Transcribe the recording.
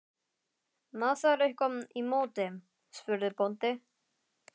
Má þar eitthvað í móti, spurði bóndi?